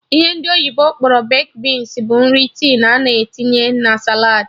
Ihe ndị oyibo kpọrọ baked beans bụ nri tin a na-etinye na saladị